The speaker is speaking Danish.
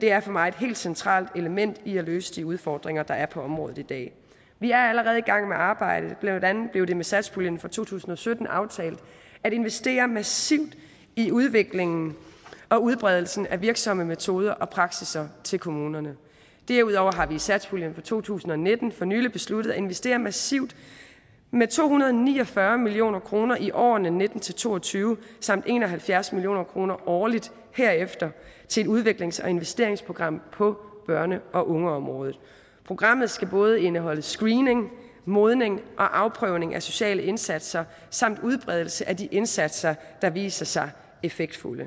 det er for mig et helt centralt element i at løse de udfordringer der er på området i dag vi er allerede i gang med arbejdet blandt andet blev det med satspuljen for to tusind og sytten aftalt at investere massivt i udviklingen og udbredelsen af virksomme metoder og praksisser til kommunerne derudover har vi i satspuljen for to tusind og nitten for nylig besluttet at investere massivt med to hundrede og ni og fyrre million kroner i årene nitten til to og tyve samt en og halvfjerds million kroner årligt herefter til et udviklings og investeringsprogram på børne og ungeområdet programmet skal både indeholde screening modning og afprøvning af sociale indsatser samt udbredelse af de indsatser der viser sig effektfulde